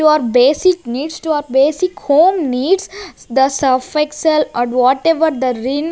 your basic needs to our basic home needs the surf excel or whatever the rin--